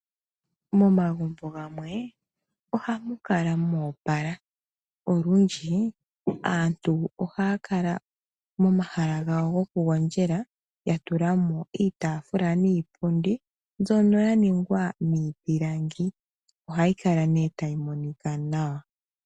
Momagumbo gamwe, ohamu kala mwoopala. Olundji, aantu ohaya kala momahala gawo gokugondjela ya tula mo iitaafula niipundi mbyono ya ningwa miipilangi, ohayi kala nee tayi monika nawa.